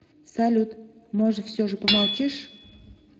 салют может все же помолчишь